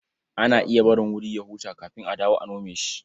Ana iya barin wuri ya huta kafin a dawo a nome shi.